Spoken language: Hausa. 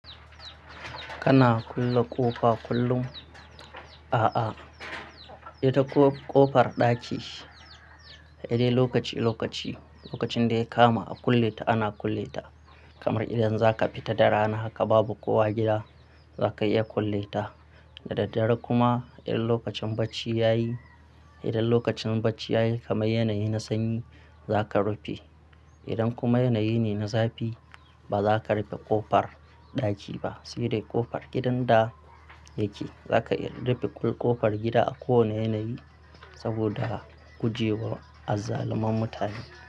Kana kulle ƙofa kullum? A'a, ita ƙofar ɗaki sai dai lokaci lokaci, lokacin da ya kama a kulle ta ana kulle ta. Kamar idan zaka fita da rana haka babu kowa gida zakayi iya kulle ta. Da daddare kuma idan lokacin bacci yayi, idan lokacin bacci yayi kamar yanayi na sanyi zaka rufe. Idan kuma yanayi ne na zafi bazaka rufe ƙofar ɗaki ba. Sire ƙofar gidan da yake zaka iya rufe ƙofar gida a kowane yanayi saboda guje wa azzaluman mutane.